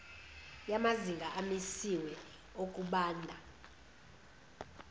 yamazinga amisiwe okubanda